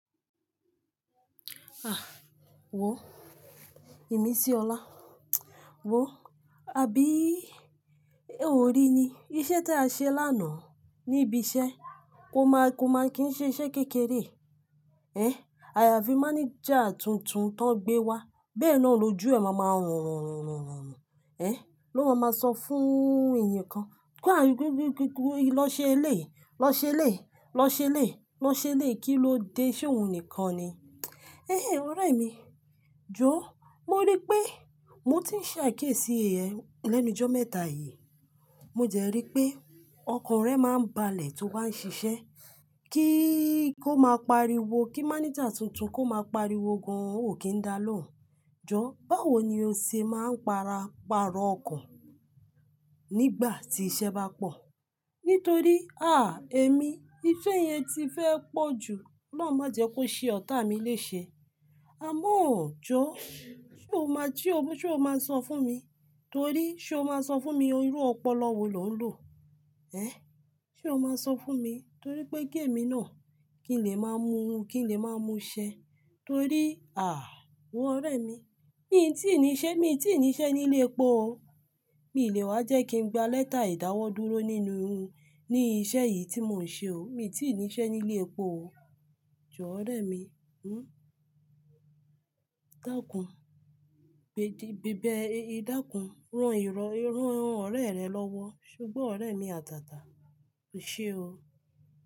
Ah! Wo, imisíọlá. Wo, àbí ò rí ni iṣẹ́ tí a ṣe lánàá ní ibi iṣẹ́, kó má kí ń ṣe iṣẹ́ kékeré. Ehn, àyàfi mánéjà tuntun tan gbé wá. Bẹ́ẹ̀ na ni ojú ẹ máa máa ranranran. Ehn, ló máa máa sọ fún èèyàn kan. Kú àárín kúúkúú lọ ṣe eléyìí, lọ ṣe eléyìí, lọ ṣe eléyìí, lọ ṣe eléyìí, kí ló de, ṣé òun nìkan ni? Ehn ehn, ọ̀rẹ́ mi, jọ, mo rí pé mo ti ń ṣàkíyèsí ẹ lẹ́nu jọ́ mẹ́ta yìí. Mo dẹ rí pé ọkàn rẹ máa ń balẹ̀ tó bá ń ṣiṣẹ́, kí kó máa pariwo, kí mánéjà tuntun kó máa pariwo gan-an ò kí ń dá lóhùn. Jọ, báwo ni o se máa ń para, pàrọ̀ ọkàn nígbà tí iṣẹ́ bá pọ̀? Nítorí, àh! Èmi, ifẹ́ yẹn ti fẹ́ pọ̀ ju, Ọlọhun má jẹ́ kó ṣe ọ̀tá mi léṣe. Àmọ́ọ jọ, ṣé o máa, ṣé o máa sọ fún mi? Torí ṣé o máa sọ fún mi o irú ọpọlọ wo lò ń lò? Ehn, ṣé o máa sọ fún mi? Torí pé ki èmi ná, kí n lè máa mú, kí n lè máa mú ṣẹ. Torí, àh! Wo ọ̀rẹ́ mi, mi tí níṣẹ́, mi tí níṣẹ́ nílé epo o. Mi lè wá jẹ́ kí n gba lẹ́tà ìdáwọ́ dúró nínú, ní iṣẹ́ yìí tí mò ń ṣe o. Mi tí níṣẹ́ nílé epo o. Jọ, ọ̀rẹ́ mi. Hmm. Dákùn, bèdí, bẹ̀bẹ̀, dákùn, rán irọ́, rán ọ̀rẹ́ rẹ lọ́wọ́. Ṣo gbọ ọ̀rẹ́ mi àtàtà, o ṣe o.